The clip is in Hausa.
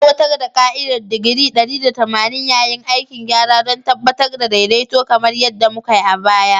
Aiwatar da ka'idar digiri 180 yayin aikin gyara don tabbatar da daidaito kamar yadda mukai a baya.